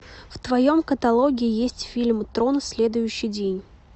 в твоем каталоге есть фильм трон следующий день